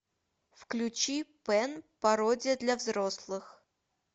включи пэн пародия для взрослых